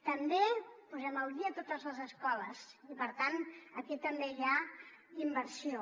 també posem al dia totes les escoles i per tant aquí també hi ha inversió